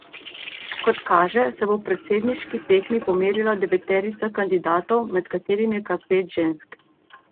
Kot kaže, se bo v predsedniški tekmi pomerila deveterica kandidatov, med katerimi je kar pet žensk.